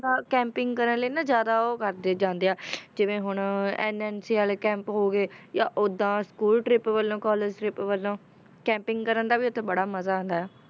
ਦਾ camping ਕਰਨ ਲਈ ਨਾ ਜ਼ਿਆਦਾ ਉਹ ਕਰਦੇ ਜਾਂਦੇ ਆ ਜਿਵੇਂ ਹੁਣ NNC ਵਾਲੇ camp ਹੋ ਗਏ, ਜਾਂ ਓਦਾਂ school trip ਵੱਲੋਂ college trip ਵੱਲੋਂ camping ਕਰਨ ਦਾ ਵੀ ਉੱਥੇ ਬੜਾ ਮਜ਼ਾ ਆਉਂਦਾ ਹੈ,